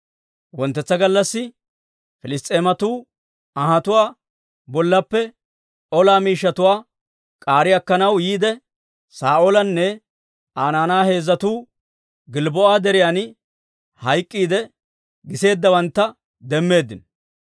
Wonttetsa gallassi Piliss's'eematuu anhatuwaa bollaappe ola miishshatuwaa k'aari akkanaw yiide, Saa'oolinne Aa naanay heezzatuu Gilbboo'a Deriyan hayk'k'iidde giseeddawantta demmeeddino.